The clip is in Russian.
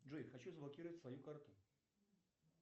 джой хочу заблокировать свою карту